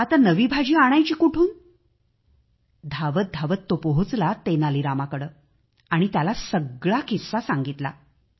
आता नवी भाजी आणायची कुठून धावत धावत तो पोहोचला तेनालीरामाकडे आणि त्याला सगळा किस्सा सांगितला